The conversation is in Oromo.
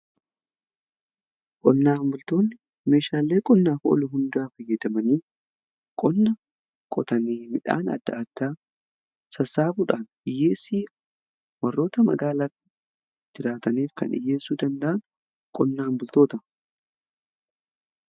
qonnaa bultoonni meeshaalee qonnaaf oolu hundaa fayyadamanii qonna qotanii midhaan adda addaa sassaabuudhaan hiyyeessii warroota magaalaa jiraataniif kan dhiyyeessuu danda'an qonnaa bultootadha.